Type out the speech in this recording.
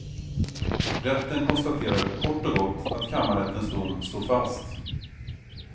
Rätten konstaterar kort och gott att kammarrättens dom står fast.